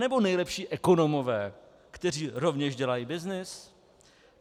Anebo nejlepší ekonomové, kteří rovněž dělají byznys?